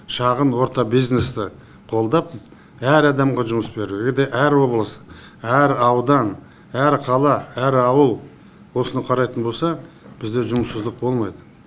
шағын орта бизнесті қолдап әр адамға жұмыс беру әр облыс әр аудан әр қала әр ауыл осыны қарайтын болса бізде жұмыссыздық болмайды